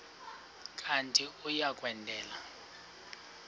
kanti uia kwendela